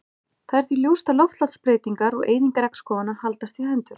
Það er því ljóst að loftslagsbreytingar og eyðing regnskóganna haldast í hendur.